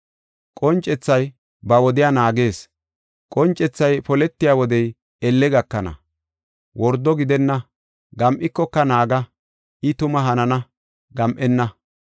Qoncethay ba wodiya naagees; qoncethay poletiya wodey elle gakana; wordo gidenna. Gam7ikoka naaga; I tuma hanana; gam7enna.”